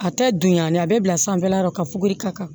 A tɛ dunyani a bɛ bila sanfɛla la ka fuguri ka kan